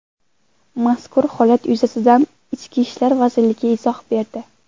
Mazkur holat yuzasidan Ichki ishlar vazirligi izoh berdi .